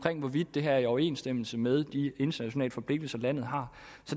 det her er i overensstemmelse med de internationale forpligtelser landet har